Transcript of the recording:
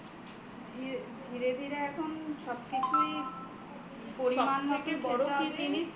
ধীরে ধীরে এখন সবকিছুই পরিমান মতো